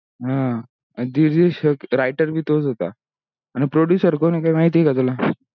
आह अ producer कोण हे काय माहीती हे का तुला. हा writer भी तोच होता.